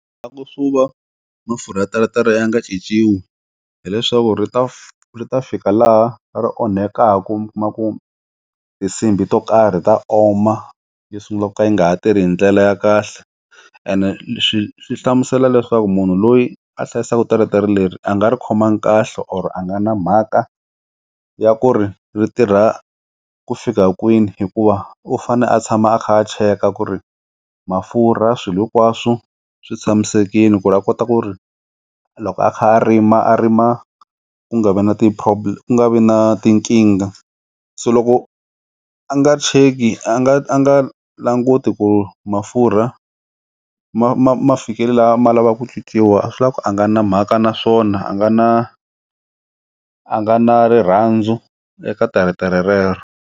La ku swi va mafurha ya teretere ya nga cinciwi hileswaku ri ta ri ta fika laha ri onhekaku mi kuma ku tinsimbhi to karhi ta oma tisungula ku nga ha tirhi hi ndlela ya kahle ene swi swi hlamusela leswaku munhu loyi a hlayisaka teretere leri a nga ri khomangi kahle or a nga na mhaka ya ku ri ri tirha ku fika kwini hikuva u fane a tshama a kha a cheka ku ri mafurha swilo hinkwaswo swi tshamisekile ku ri a kota ku ri loko a kha a rima a rima ku nga vi na ti-probe, ku nga vi na tinkingha se loko a nga check-i a nga a nga languti ku mafurha durha ma fikelela ma lavaku nyikiwa a swi leswaku a nga na mhaka naswona a nga na a nga na rirhandzu eka teretere rero.